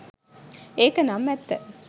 ඒක නම් ඇත්ත